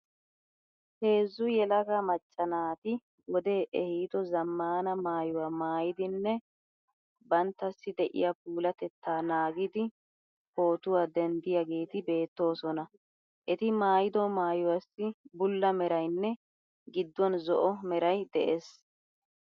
Heezzu yelaga macca naati wodee ehiido zaammaana maayuwa maayidinne banittassi de'iya puulatettaa naagidi pootuwa denddiyageeti beettoosona. Eti maayido maayuwaassi bulla merayinne gidduwan zo'o meray de'ees.